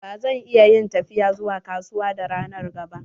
Ba zan iya yin tafiya zuwa kasuwa da ranar ga ba.